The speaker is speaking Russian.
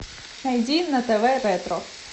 найди на тв ретро